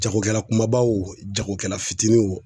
Jagokɛla kumaba wo jagokɛla fitinin wo